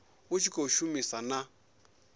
u tshi khou shumisana na